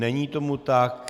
Není tomu tak.